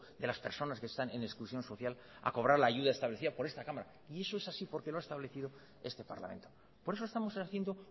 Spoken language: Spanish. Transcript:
de las personas que están en exclusión social a cobrar la ayuda establecida por esta cámara y eso es así porque lo ha establecido este parlamento por eso estamos haciendo